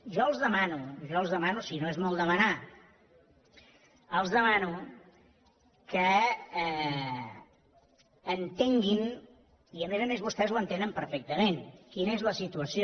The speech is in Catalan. jo els demano jo els demano si no és molt demanar els demano que entenguin i a més a més vostès ho entenen perfectament quina és la situació